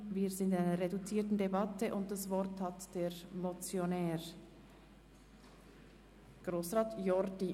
Wir führen eine reduzierte Debatte, und das Wort hat der Motionär, Grossrat Jordi.